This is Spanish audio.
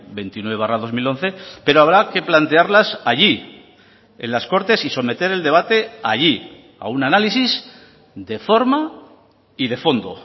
veintinueve barra dos mil once pero habrá que plantearlas allí en las cortes y someter el debate allí a un análisis de forma y de fondo